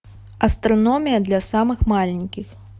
астрономия для самых маленьких